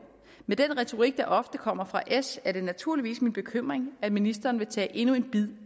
med den retorik der ofte kommer fra s er det naturligvis min bekymring at ministeren vil tage endnu en bid